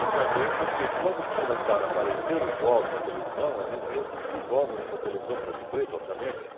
E também porque quando começaram a aparecer os jogos na televisão, a gente ia assistir os jogos na televisão, branco e preto, obviamente,